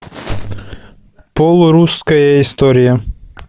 полурусская история